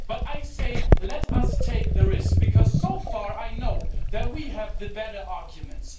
But I say let us take the risk, because so far, I know that we have the better arguments.